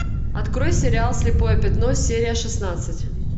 открой сериал слепое пятно серия шестнадцать